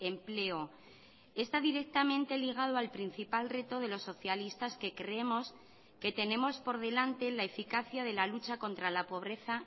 empleo está directamente ligado al principal reto de los socialistas que creemos que tenemos por delante la eficacia de la lucha contra la pobreza